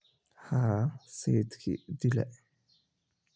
Haa, sayidkii dila